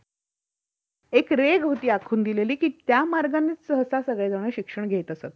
एक रेघ होती आखून दिलेली कि त्या मार्गाने सगळेजण सहसा शिक्षण घेत.